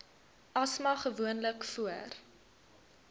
asma gewoonlik voor